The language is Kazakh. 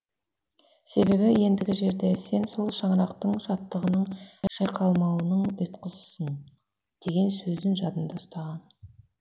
себебі ендігі жерде сен сол шаңырақтың шаттығының шайқалмауының ұйытқысысың деген сөзін жадында ұстаған